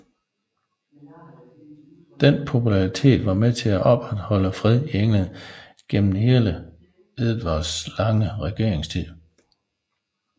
Denne popularitet var med til at opretholde fred i England gennem hele Edvards lange regeringstid